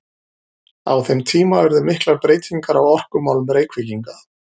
Á þeim tíma urðu miklar breytingar á orkumálum Reykvíkinga.